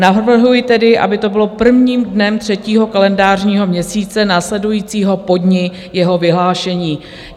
Navrhuji tedy, aby to bylo prvním dnem třetího kalendářního měsíce následujícího po dni jeho vyhlášení.